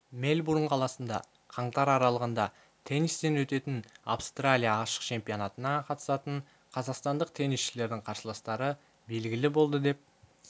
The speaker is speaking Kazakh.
мельбурн қаласында қаңтар аралығында теннистен өтетін австралия ашық чемпионатына қатысатын қазақстандық теннисшілердің қарсыластары белгілі болды деп